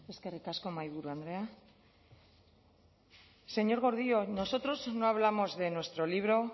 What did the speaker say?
eskerrik asko mahaiburu andrea señor gordillo nosotros no hablamos de nuestro libro